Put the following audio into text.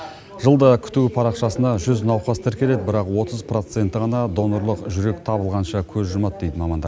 жылда күту парақшасына жүз науқас тіркеледі бірақ отыз процентті ғана донорлық жүрек табылғанша көз жұмады дейді мамандар